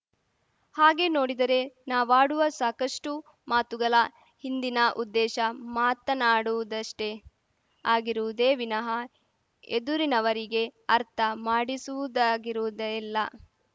ಹಾಗೆ ನೋಡಿದರೆ ನಾವಾಡುವ ಸಾಕಷ್ಟುಮಾತುಗಲ ಹಿಂದಿನ ಉದ್ದೇಶ ಮಾತನಾಡುವುದಷ್ಟೇ ಆಗಿರುವುದೇ ವಿನಃ ಎದುರಿನವರಿಗೆ ಅರ್ಥ ಮಾಡಿಸುವುದಾಗಿರುವುದೇ ಇಲ್ಲ